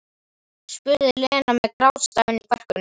spurði Lena með grátstafinn í kverkunum.